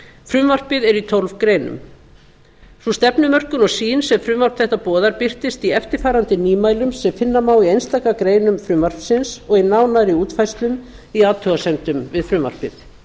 frumvarpið er í tólf greinum sú stefnumörkun og sýn sem frumvarp þetta boðar birtist í eftirfarandi nýmælum sem finna má í einstaka greinum frumvarpsins og í nánari útfærslum í athugasemdunum við frumvarpið